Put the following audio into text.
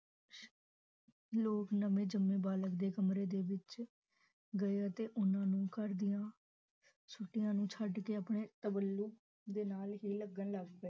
ਲੋਗ ਨਵੇ ਜੰਮੇ ਬਾਲਕ ਦੇ ਕਮਰੇ ਦੇ ਵਿਚ ਗਏ ਅਤੇ ਓਹਨਾ ਨੂੰ ਘਰ ਦੀਆਂ ਸੁਤਿਆ ਨੂੰ ਸ਼ੱਡ ਕੇ ਆਪਣੇ ਦੇ ਨਾਲ ਹੈ ਲੱਗਣ ਲੱਗ ਪਏ